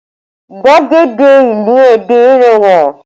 Gbàgede ìlú Ẹdẹ rẹwà